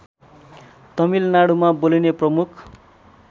तमिलनाडुमा बोलिने प्रमुख